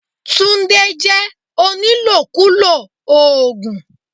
Tunde jẹ́ onílòkulò oògùn.